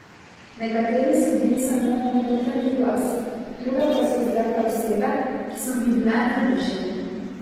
Nekateri so bili samo moj notranji glas, druge pa so izrekle osebe, ki so mi bile najbližje.